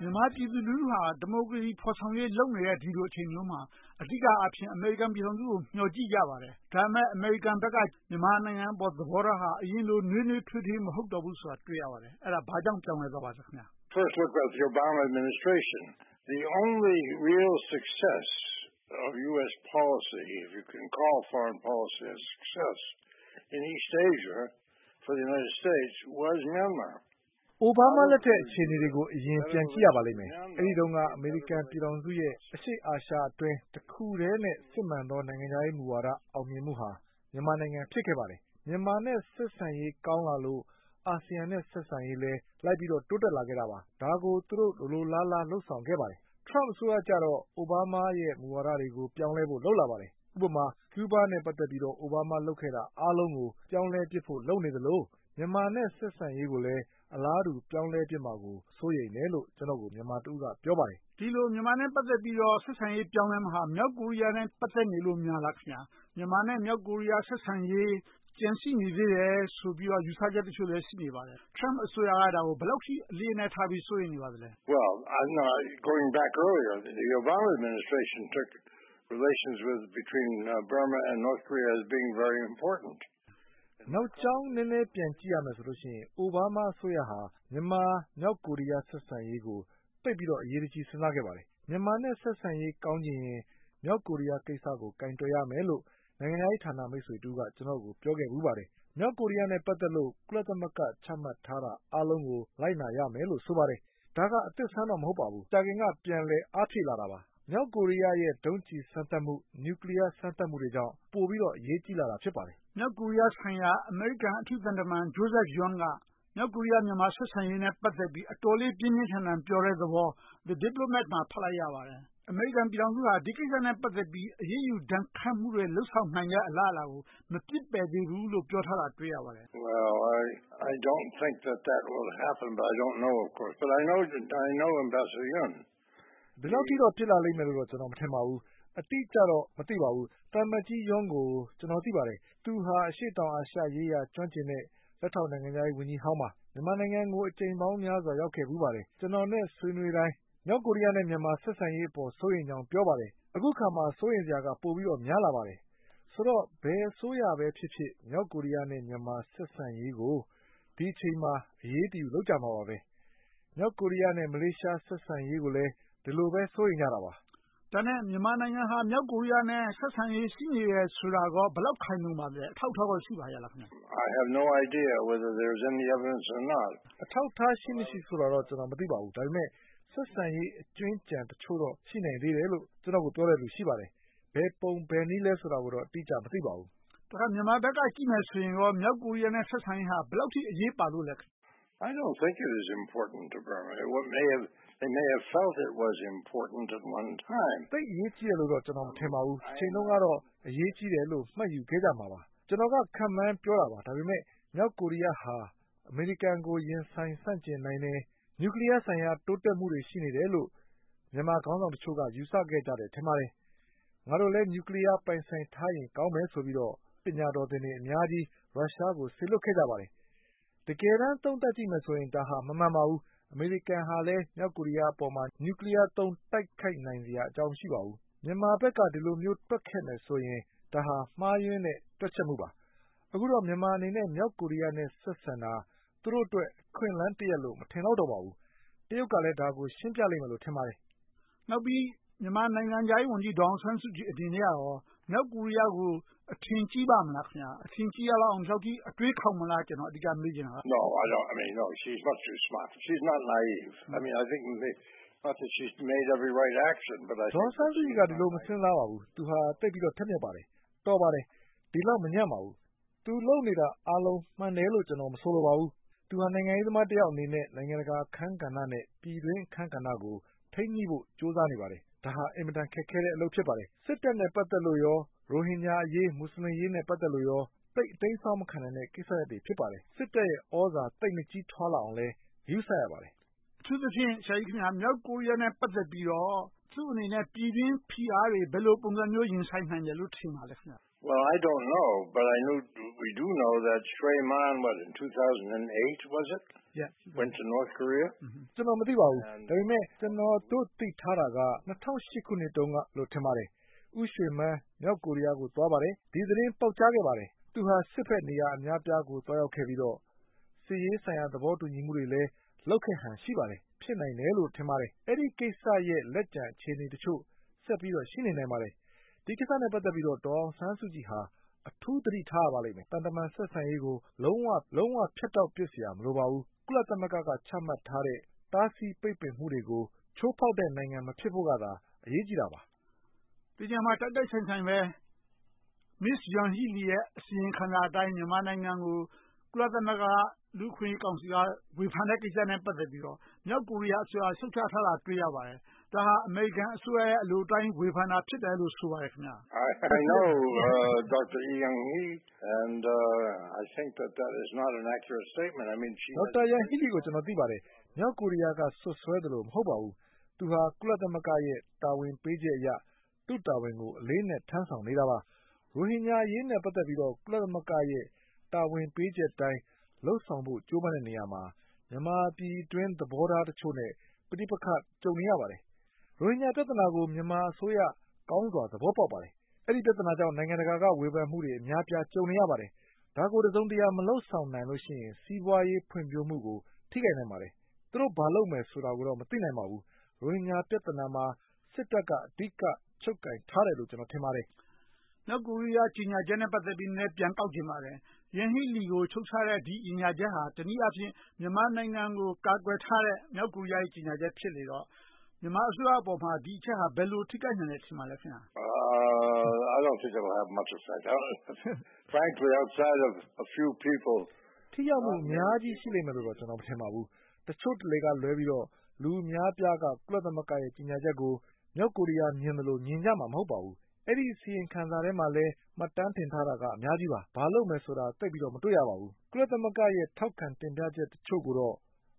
မြန်မာပြည်သူလူထုဟာ ဒီမိုကရေစီ ဖော်ဆောင်ရေး လုပ်နေတဲ့ ဒီလိုအချိန်မျိုးမှာ အဓိကအားဖြင့် အမေရိကန်ပြည်ထောင်စုကို မျှော်ကြည့်ကြပါတယ်။ ဒါပေမဲ့ အမေရိကန်ဘက်က မြန်မာပြည်အပေါ် သဘောထားဟာ အရင်လို နွေးနွေးထွေးထွေး မဟုတ်တော့ဘူးဆိုတာ တွေ့ရပါတယ်။ အဲဒါ ဘာကြောင့်ပြောင်းလဲသွားပါလဲ။ David Steinberg ။ ။ Obama လက်ထက် အခြေအနေတွေကို အရင်ပြန်ကြည့်ရပါလိမ့်မယ်။ အဲဒီတုန်းက အမေရိကန်ပြည်ထောင်စုရဲ့ အရှေ့အာရှအတွင်း တစ်ခုတည်းနဲ့ စစ်မှန်တဲ့ နိုင်ငံခြားမူဝါဒ အောင်မြင်မှုဟာ မြန်မာနိုင်ငံ ဖြစ်ခဲ့ပါတယ်။ မြန်မာနဲ့ ဆက်ဆံရေးကောင်းလာလို့ ASEAN နဲ့ ဆက်ဆံရေးလည်း လိုက်ပြီးတော့ တိုးတက်လာပါတယ်။ ဒါကို သူတို့ လိုလိုလားလား လုပ်ဆောင်ခဲ့ပါတယ်။ Trump အစိုးရကြတော့ Obama ရဲ့ သဘောထားတွေကို ပြောင်းလဲဖို့ လုပ်လာပါတယ်။ ဥပမာ ကျူဘားနဲ့ ပတ်သက်ပြီးတော့ Obama လုပ်ခဲ့တာ အားလုံးကို ပြောင်းလဲပြစ်ဖို့ လုပ်နေသလို၊ မြန်မာနဲ့ ဆက်ဆံရေးကိုလည်း အလားတူ ပြောင်းလဲပြစ်မှာကို စိုးရိမ်တယ်လို့ ကျနော့်ကို မြန်မာတဦးက ပြောင်းပါတယ်။ ဦးကျော်ဇံသာ ။ ။ ဒီလိုနဲ့ မြန်မာနဲ့ ပတ်သက်ပြီးတော့ ဆက်ဆံရေး ပြောင်းလဲမယ့်ဟာ မြောက်ကိုရီးယားနဲ့ ပတ်သက်နေလို့များလား။ မြန်မာနဲ့ မြောက်ကိုရီးယား ဆက်ဆံရေး ကျန်ရှိနေသေးတယ်ဆိုပြီးတော့ ယူဆချက်တချို့လည်း ရှိနေပါသေးတယ်။ Trump အစိုးရက ဒါကို ဘယ်လောက်အထိ အလေးအနက်ထားပြီး စိုးရိမ်နေပါလဲ။ David Steinberg ။ ။ နောက်ကြောင်းနည်းနည်း ပြန်ကြည့်ရမယ်ဆိုရင် Obama အစိုးရဟာ မြန်မာ၊ မြောက်ကိုရီးယား ဆက်ဆံရေးကို သိပ်ပြီးတော့ အရေးတကြီး စဉ်းစားခဲ့ပါတယ်။ မြန်မာနဲ့ ဆက်ဆံရေး ကောင်းချင်ရင် မြောက်ကိုရီးယားကိစ္စကို ကိုင်တွယ်ရမယ်လို့ နိုင်ငံခြားရေး မိတ်ဆွေတဦးက ပြောခဲ့ဖူးပါတယ်။ မြောက်ကိုရီးယားနဲ့ ပတ်သက်လို့ ကုလသမဂ္ဂ ချမှတ်ထားတာအားလုံးကို လိုက်နာရမယ်လို့ ဆိုပါတယ်။ ဒါက အသစ်အဆန်းတော့ မဟုတ်ပါဘူး။ မကြာခင်က ပြန်လည်အားဖြည့်လာတာပါ။ မြောက်ကိုရီးယားရဲ့ ဒုံးကျည်းစမ်းသတ်မှု၊ နျူကလီးယားစမ်းသပ်မှုတွေကြောင့် ပိုပြီးတော့ အရေးကြီးလာတာ ဖြစ်ပါတယ်။ ဦးကျော်ဇံသာ ။ ။ မြောက်ကိုရီးယားဆိုင်ရာ အမေရိကန် အထူးသံတမန် Joseph Yun က မြောက်ကိုရီးယား-မြန်မာ ဆက်ဆံရေးနဲ့ ပတ်သက်ပြီး အတော်လေး ပြင်းပြင်းထန်ထန် ပြောတဲ့သဘော The Diplomat မှာ ပြောထားပါတယ်။ အမေရိကန်ပြည်ထောင်စုဟာ ဒီကိစ္စနဲ့ ပတ်သက်ပြီး အရေးယူဒဏ်ခတ်မှုတွေ လုပ်ဆောင်နိုင်တဲ့ အလားအလာကို မပစ်ပယ်သေးဘူးလို့ ပြောထားတာကို တွေ့ရပါတယ်။ David Steinberg ။ ။ ဒီလောက်ထိတော့ ဖြစ်လာလိမ့်မယ်လို့ ကျနော် မထင်ပါဘူး။ အတိအကျတော့ မသိပါဘူး။ သံအမတ်ကြီး Yun ကို ကျနော် သိပါတယ်။ သူဟာ အရှေ့တောင်အာရှရေးရာ ကျွမ်းကျင်တဲ့ လက်ထောက်နိုင်ငံခြားရေးဝန်ကြီးဟောင်းပါ။ မြန်မာနိုင်ငံကို အကြိမ်ပေါင်းများစွာ ရောက်ခဲ့ဖူးပါတယ်။ ကျနော်နဲ့ ဆွေးနွေးတိုင်း မြောက်ကိုရီးယားနဲ့ မြန်မာ ဆက်ဆံရေးအပေါ် စိုးရိမ်ကြောင်း ပြောပါတယ်။ အခုအခါမှာ စိုးရိမ်စရာက ပိုပြီးတော့ များလာပါတယ်။ ဆိုတော့ ဘယ်အစိုးရပဲဖြစ်ဖြစ် မြောက်ကိုရီးယား နဲ့ မြန်မာ ဆက်ဆံရေးကို ဒီအချိန်မှာ အရေးတယူ လုပ်ကြမှာပါ။ မြောက်ကိုရီးယားနဲ့ မလေးရှား ဆက်ဆံရေးကိုလည်း ဒီလိုပဲ စိုးရိမ်ကြတာပါ။ ဦးကျော်ဇံသာ ။ ။ ဒါနဲ့ မြန်မာနိုင်ငံဟာ မြောက်ကိုရီးယားနဲ့ ဆက်ဆံရေး ရှိနေတယ်ဆိုတာကိုကော ဘယ်လောက် ခိုင်လုံပါလဲ။ အထောက်အထားတွေ ရှိပါရဲ့လား။ David Steinberg ။ ။ အထောက်အထား ရှိမရှိဆိုတာတော့ ကျနော် မသိပါဘူး။ ဒါပေမဲ့ ဆက်ဆံရေး အကြွင်းအကျန်တချို့တော့ ရှိနိုင်သေးတယ်လို့ ကျနော်ကို ပြောတဲ့လူတချို့ ရှိပါတယ်။ ဘယ်ပုံဘယ်နည်းလဲဆိုတာတော့ အတိအကျ မသိပါဘူး။ ဦးကျော်ဇံသာ ။ ။ တခါ မြန်မာဘက်က ကြည့်မယ်ဆိုရင်ကော မြောက်ကိုရီးယားနဲ့ ဆက်ဆံရေးဟာ ဘယ်လောက်အထိ အရေးပါလို့လဲ။ David Steinberg ။ ။ သိပ်အရေးကြီးတယ်လို့ မထင်ပါဘူး။ တချိန်တုန်းကတော့ အရေးကြီးတယ်လို့ မှတ်ယူခဲ့ကြမှာပါ။ ကျနော်က ခန့်မှန်းပြောတာပါ။ ဒါပေမဲ့ မြောက်ကိုရီးယားဟာ အမေရိကန်ကို ရင်ဆိုင်ဆန့်ကျင်နိုင်တဲ့ နျူကလီးယားဆိုင်ရာ တိုးတက်မှုတွေ ရှိနေတယ်လို့ မြန်မာခေါင်းဆောင်တချို့က ယူဆခဲ့ကြတယ် ထင်ပါတယ်။ ငါတို့လည်း နျူကလီးယားပိုင်ဆိုင်ထားရင် ကောင်းမယ်ဆိုပြီးတော့ ပညာတော်သင်တွေ အများကြီး ရုရှားကို စေလွှတ်ခဲ့ပါတယ်။ တကယ်တမ်း သုံးသပ်ကြည့်မယ်ဆိုရင် ဒါဟာ မမှန်ပါဘူး။ အမေရိကန်ဟာလည်း မြောက်ကိုရီးယားအပေါ်မှာ နျူကလီးယားသုံး တိုက်ခိုက်နိုင်စရာအကြောင်း မရှိပါဘူး။ မြန်မာဘက်က ဒီလိုမျိုး တွက်ခဲ့မယ်ဆိုရင် ဒါဟာ မှားယွင်းတဲ့ တွက်ချက်မှုပါ။ အခုတော့ မြန်မာအနေနဲ့ မြောက်ကိုရီးယားနဲ့ ဆက်ဆံတာ သူတို့အတွက် အခွင့်အလမ်းတရပ်လို့ မထင်လောက်တော့ပါဘူး။ တရုတ်ကလည်း ဒါကို ရှင်းပြလိမ့်မယ်လို့ ထင်ပါတယ်။ ဦးကျော်ဇံသာ ။ ။ နောက်ပြီး မြန်မာနိုင်ငံခြားရေးဝန်ကြီး ဒေါ်အောင်ဆန်းစုကြည်အနေနဲ့ မြောက်ကိုရီးယားကို အထင်ကြီးပါ့မလား။ အထင်ကြီးရလောက်အောင် ဒီလောက်အထိ အတွေးခေါင်မလား ကျနော် မေးချင်တာက။ David Steinberg ။ ။ ဒေါ်အောင်ဆန်းစုကြည်က ဒီလို မစဉ်းစားပါဘူး။ သူဟာ သိပ်ပြီးတော့ ထက်မြတ်ပါတယ်။ တော်ပါတယ်။ ဒီလောက် မညံ့ပါဘူး။ သူလုပ်နေတာအားလုံး မှန်တယ်လို့ ကျနော် မဆိုလိုပါဘူး။ သူဟာ နိုင်ငံရေးသမားတယောက်အနေနဲ့ နိုင်ငံတကာအခန်းကဏ္ဍ နဲ့ ပြည်တွင်းအခန်းကဏ္ဍတို့ကို ထိန်းညှိဖို့ ကြိုးစားနေပါတယ်။ ဒါဟာ အင်မတန် ခက်ခဲတဲ့အလုပ် ဖြစ်ပါတယ်။ စစ်တပ်နဲ့ ပတ်သက်လို့၊ ရိုဟင်ဂျာအရေး၊ မူစလင်အရေးနဲ့ ပတ်သက်လို့ရော သိပ်အတိမ်းအစောင်း မခံနိုင်တဲ့ကိစ္စရပ်တွေ ဖြစ်ပါတယ်။ စစ်တပ်ရဲ့သြဇာ သိပ်မကြီးထွားလာအောင်လည်း ဂရုစိုက်ရပါတယ်။ ဦိးကျော်ဇံသာ ။ ။ အထူးသဖြင့် မြောက်ကိုရီးယားနဲ့ ပတ်သက်ပြီးတော့ သူ့အနေနဲ့ ပြည်တွင်းဖိအားတွေ ဘယ်လိုပုံစံမျိုး ရင်ဆိုင်နိုင်တယ်လို့ ထင်ပါလဲ။ David Steinberg ။ ။ ကျနော် မသိပါဘူး။ ဒါပေမဲ့ ကျနော်တို့ သိထားတာက ၂၀၀၈ ခုနှစ်လောက်တုန်းကလို့ ထင်ပါတယ်။ ဦးရွှေမန်း မြောက်ကိုရီးယားကို သွားပါတယ်။ ဒီသတင်း ပေါက်ကြားခဲ့ပါတယ်။ သူဟာ စစ်ဘက်နေရာ အများအပြားကို သွားရောက်ခဲ့ပြီးတော့ စစ်ရေးဆိုင်ရာသဘောတူညီမှုတွေလည်း လုပ်ခဲ့ဟန် ရှိပါတယ်။ ဖြစ်နိုင်တယ်လို့ ထင်ပါတယ်။ အဲဒီကိစ္စရဲ့ လက်ကျန်အခြေအနေတချို့ ဆက်ပြီးတော့ ရှိနေနိုင်ပါတယ်။ ဒီကိစ္စနဲ့ ပတ်သက်ပြီးတော့ ဒေါ်အောင်ဆန်းစုကြည်ဟာ အထူးသတိထားရပါလိမ့်မယ်။ သံတမန် ဆက်ဆံရေးကို လုံးဝဖြတ်တောက်ပြစ်စရာ မလိုပါဘူး။ ကုလသမဂ္ဂက ချမှတ်ထားတဲ့ တားဆီးပိတ်ပင်မှုတွေကို ချိုးဖောက်တဲ့နိုင်ငံ မဖြစ်ဖို့ကသာ အရေးကြီးတာပါ။ ဦးကျော်ဇံသာ ။ ။ ဒီနေရာမှာ တိုက်တိုက်ဆိုင်ဆိုင်ပဲ မစ္စယန်ဟီလီရဲ့ အစီရင်ခံစာအတိုင်း မြန်မာနိုင်ငံကို ကုလသမဂ္ဂ လူ့အခွင့်အရေးကောင်စီက ဝေဖန်တဲ့ကိစ္စနဲ့ ပတ်သက်ပြီးတော့ မြောက်ကိုရီးယားအစိုးရက ရှုတ်ချထားတာ တွေ့ရပါတယ်။ ဒါဟာ အမေရိကန်အစိုးရ အလိုအတိုင်း ဝေဖန်တာ ဖြစ်တယ်လို့ ဆိုပါတယ်။ David Steinberg ။ ။ ဒေါက်တာယန်ဟီလီ ကို ကျနော် သိပါတယ်။ မြောက်ကိုရီးယားက စွပ်စွဲသလိုမျိုး မဟုတ်ပါဘူး။ သူဟာ ကုလသမဂ္ဂရဲ့တာဝန် ပေးချက်အရ သူ့တာဝန်ကို အလေးအနက် ထမ်းဆောင်နေတာပါ။ ရိုဟင်ဂျာအရေးနဲ့ ပတ်သက်လို့ ကုလသမဂ္ဂရဲ့ တာဝန်ပေးချက်အတိုင်း လုပ်ဆောင်ဖို့ ကြိုးပမ်းတဲ့နေရာမှာ မြန်မာပြည်အတွင်း သဘောထားတချို့နဲ့ ပဋိပက္ခ ကြုံနေရပါတယ်။ ရိုဟင်ဂျာပြဿနာကို မြန်မာအစိုးရ ကောင်းစွာသဘောပေါက်ပါတယ်။ အဲဒီပြဿနာကြောင့် နိုင်ငံတကာက ဝေဖန်မှုတွေ အများအပြား ကြုံနေရပါတယ်။ ဒါကို တစုံတရာ မလုပ်ဆောင်နိုင်လို့ရှိရင် စီးပွားရေးဖွံ့ဖြိုးမှုကို ထိခိုက်နိုင်ပါတယ်။ သူတို့ ဘာလုပ်မယ်ဆိုတာကိုတော့ မသိနိုင်ပါဘူး။ ရိုဟင်ဂျာပြဿနာမှာ စစ်တပ်က အဓိက ချုပ်ကိုင်ထားတယ်လို့ ထင်ပါတယ်။ ဦးကျော်ဇံသာ ။ ။ မြောက်ကိုရီးယား ကြေညာချက်နဲ့ ပတ်သက်ပြီး နည်းနည်းပြန်ကောက်ချင်ပါတယ်။ ယန်ဟီလီကို ရှုတ်ချတဲ့ ဒီကြေညာချက်ဟာ တနည်းအားဖြင့် မြန်မာနိုင်ငံကို ကာကွယ်ထားတဲ့ မြောက်ကိုရီးယားရဲ့ ကြေညာချက်ဖြစ်နေတော့ မြန်မာအစိုးရအပေါ်မှာ ဒီအချက်ဟာ ဘယ်လို ထိခိုက်နိုင်မယ် ထင်ပါလဲ။ David Steinberg ။ ။ ထိရောက်မှု အများကြီးရှိမယ်လို့တော့ ကျနော် မထင်ပါဘူး။ တချို့တလေကလွဲပြီးတော့ လူအများအပြားက ကုလသမဂ္ဂရဲ့ ကြေညာချက်ကို မြောက်ကိုရီးယား မြင်သလို မြင်ကြမှာ မဟုတ်ပါဘူး။ အဲဒီ အစီရင်ခံစာထဲမှာလည်း မှတ်တမ်းတင်ထားတာက အများကြီးပါ။ ဘာလုပ်မယ်ဆိုတာကို သိပ်ပြီးတော့ မတွေ့ရပါဘူး။ ကုလသမဂ္ဂရဲ့ ထောက်ခံတင်ပြချက်တချို့ကိုတော့